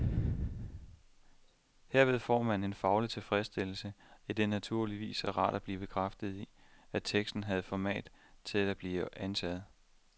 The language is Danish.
Herved får man en faglig tilfredsstillelse, idet det naturligvis er rart at blive bekræftet i, at teksten havde format til at blive antaget.